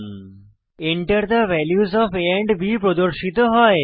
Enter the values of a and b প্রদর্শিত হয়